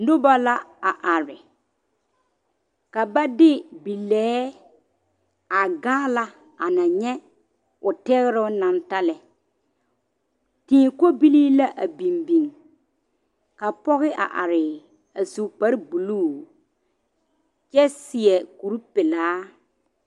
Noba la a are, ka ba de bilɛɛ a gaala a na nyɛ o tegeroŋ naŋ seŋ lɛ, tii kobilii la a biŋ biŋ ka pɔge a are a su kpare buluu kyɛ seɛ kur pelaa.